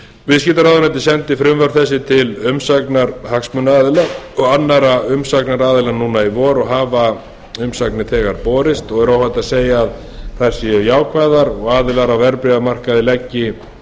viðskiptaráðuneytið sendi frumvörp þessi til umsagnar hagsmunaaðila og annarra umsagnaraðila núna í vor og hafa umsagnir þegar borist og er óhætt að segja að þær séu ákvæði og aðilar á verðbréfamarkaði leggi